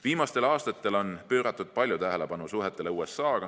Viimastel aastatel on palju tähelepanu pööratud suhetele USA‑ga.